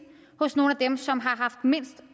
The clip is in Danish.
hos nogle af dem som har haft mindst at